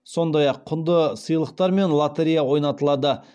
сондай ақ құнды сыйлықтар мен лотерея ойнатылады